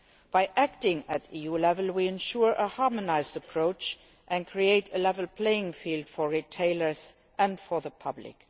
By acting at EU level, we can guarantee a harmonised approach and create a level playing field for retailers and for the public.